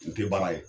N tɛ baara ye